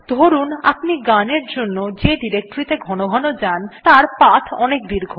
ধরুন আপনি গানের জন্য যে ডিরেক্টরীত়ে ঘনঘন যান তার পাথ অনেক দীর্ঘ